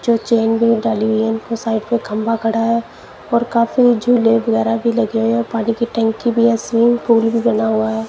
जो चैन वैन डाली हुई है उनके साइड पे खंभा खड़ा है और काफी झूले वगेरा भी लगे हुए है पानी की टंकी भी है स्विमिंग पुल भी बना हुआ है।